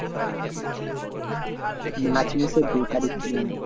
March মাসের দু তারিখ বললাম।